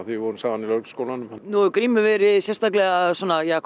við vorum saman í Lögregluskólanum nú hefur Grímur verið sérstaklega svona hvað